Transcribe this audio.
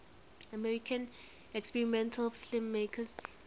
american experimental filmmakers